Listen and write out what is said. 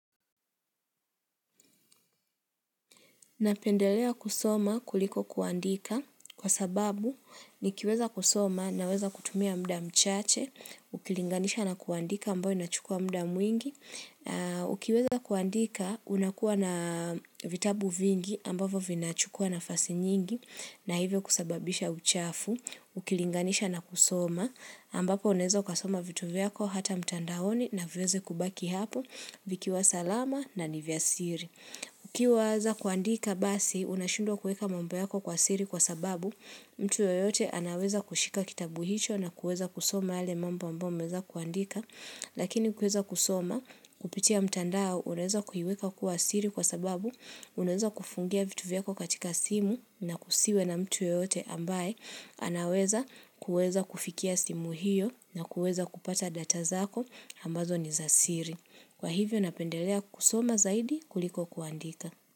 Napendelea kusoma kuliko kuandika kwa sababu nikiweza kusoma naweza kutumia mda mchache, ukilinganisha na kuandika ambayo inachukua mda mwingi, ukiweza kuandika unakuwa na vitabu vingi ambavyo vinachukua nafasi nyingi na hivyo kusababisha uchafu, ukilinganisha na kusoma ambapo unaeza ukasoma vitu vyako hata mtandaoni na viweze kubaki hapo vikiwa salama na nivyasiri. Ukiwaza kuandika basi, unashindwa kueka mambo yako kwa siri kwa sababu mtu yoyote anaweza kushika kitabu hicho na kueza kusoma yale mambo ambayo umeeza kuandika, lakini kueza kusoma kupitia mtandao unaweza kuiweka kuwa siri kwa sababu unaweza kufungia vitu vyako katika simu na kusiwe na mtu yeyote ambaye anaweza kueza kufikia simu hiyo na kueza kupata data zako ambazo ni za siri. Kwa hivyo napendelea kusoma zaidi kuliko kuandika.